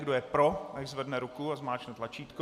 Kdo je pro, nechť zvedne ruku a zmáčkne tlačítko.